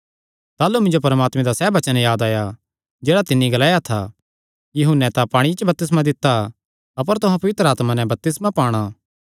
ताह़लू मिन्जो परमात्मे दा सैह़ वचन याद आया जेह्ड़ा तिन्नी ग्लाया था यूहन्ने तां पांणिये च बपतिस्मा दित्ता अपर तुहां पवित्र आत्मा नैं बपतिस्मा पाणा